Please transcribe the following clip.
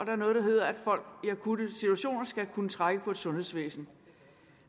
er noget der hedder at folk i akutte situationer skal kunne trække på et sundhedsvæsen